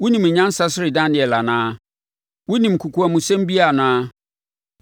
Wonim nyansa sene Daniel anaa? Wonim kokoamsɛm biara anaa?